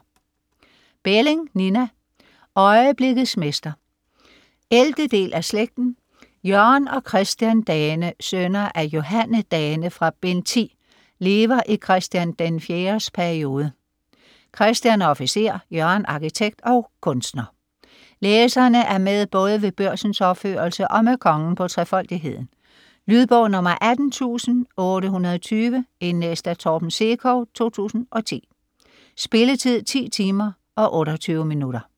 Belling, Nina: Øjeblikkets mester 11. del af Slægten. Jørgen og Christian Dane, sønner af Johanne Dane fra bd. 10, lever i Chr. IV's periode, Christian er officer, Jørgen arkitekt og kunstner. Læserne er med både ved Børsens opførelse og med kongen på 'Trefoldigheden' . Lydbog 18820 Indlæst af Torben Sekov, 2010. Spilletid: 10 timer, 28 minutter.